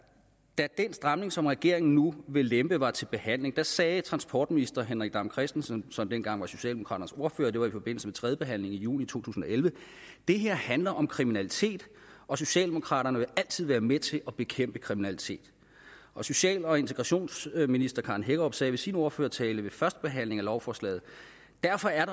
da den stramning som regeringen nu vil lempe var til behandling sagde transportminister henrik dam kristensen som dengang var socialdemokraternes ordfører det var i forbindelse med tredjebehandlingen i juni 2011 det her handler om kriminalitet og socialdemokraterne vil altid være med til at bekæmpe kriminalitet og social og integrationsminister karen hækkerup sagde i sin ordførertale ved førstebehandlingen af lovforslaget derfor er